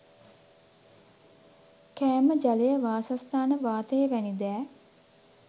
කෑම ජලය වාසස්ථාන වාතය වැනි දෑ